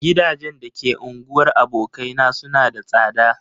Gidajen da ke unguwar abokaina suna da tsada.